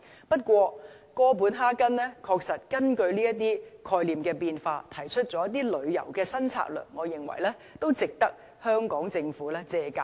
不過，哥本哈根確實根據這些概念的變化而提出了一些旅遊新策略，我認為值得香港政府借鑒。